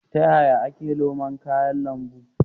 Ta yaya yake noman kayan lambu?